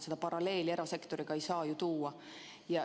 Sellist paralleeli erasektoriga ei saa tõmmata.